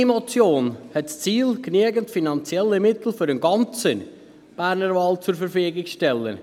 Meine Motion hat zum Ziel, genügend finanzielle Mittel für den ganzen Berner Wald zur Verfügung zu stellen.